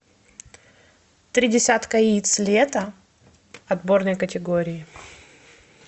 три десятка яиц лето отборной категории